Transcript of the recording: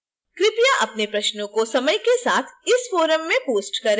कृपया अपने प्रश्नों को समय के साथ इस forum में post करें